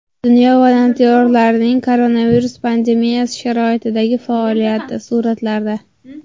Dunyo volontyorlarining koronavirus pandemiyasi sharoitidagi faoliyati – suratlarda.